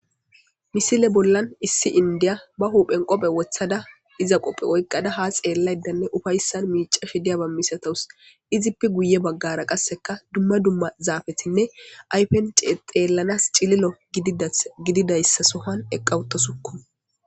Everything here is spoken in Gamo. misile bollan issi indiya ba huuphen qophe wothada iza qophe oykqada ha xeellaydanne ufayssan miica she diyaba misatowus izippi guye baggara qasseka dumma dumma zaafetinne aypence xeellanas cililo dgididayssa sohan eqqawutasukku